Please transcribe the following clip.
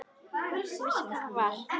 Hann vissi hvað það var.